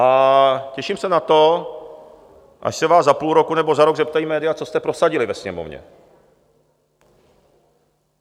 A těším se na to, až se vás za půl roku nebo za rok zeptají média, co jste prosadili ve Sněmovně.